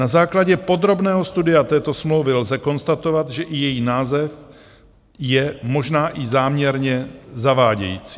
Na základě podrobného studia této smlouvy lze konstatovat, že i její název je možná i záměrně zavádějící.